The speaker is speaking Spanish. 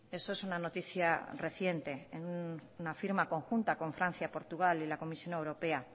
eso es una noticia reciente una firma conjunta con francia portugal y la comisión europea